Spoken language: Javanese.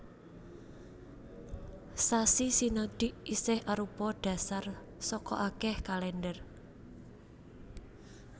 Sasi sinodik isih arupa dhasar saka akèh kalèndher